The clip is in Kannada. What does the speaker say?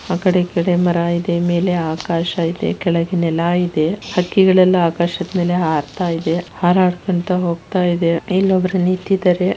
ಆಕಡೆ ಈಕಡೆ ಮರ ಇದೆ ಮೇಲೆ ಆಕಾಶ ಇದೆ ಕೆಳಗೆ ನೆಲ ಇದೆ ಹಕ್ಕಿಗಳೆಲ್ಲ ಆಕಾಶದ್ ಮೇಲೆ ಹಾರ್ತಾಯಿದೆ. ಹಾರಾಡ್ಕೊಂಡ್ತಾ ಹೋಗ್ತಾ ಇದೆ. ಇಲ್ಲೊಬ್ರು ನಿಂತಿದಾರೆ.